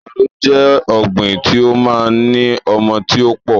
Àgbàdo jẹ́ ọ̀gbín tí ó máa ń ní ọmọ tí ó pọ̀